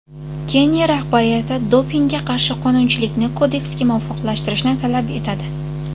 Keniya rahbariyati dopingga qarshi qonunchilikni kodeksga muvofiqlashtirishi talab etiladi.